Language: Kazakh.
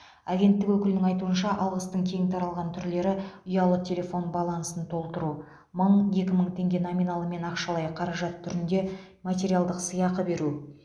агенттік өкілінің айтуынша алғыстың кең таралған түрлері ұялы телефон балансын толтыру мың екі мың теңге номиналымен ақшалай қаражат түрінде материалдық сыйақы беру